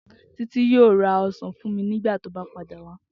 Titi yoo ra osan fun mi nigbati o ba pada wa.